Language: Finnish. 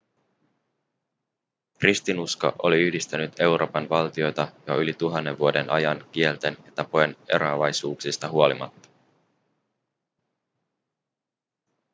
kristinusko oli yhdistänyt euroopan valtioita jo yli tuhannen vuoden ajan kielten ja tapojen eroavaisuuksista huolimatta